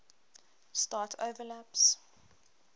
start overlaps